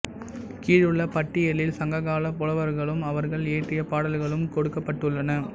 கீழுள்ள பட்டியலில் சங்ககாலப் புலவர்களும் அவர்கள் இயற்றிய பாடல்களும் கொடுக்கப்பட்டுள்ளன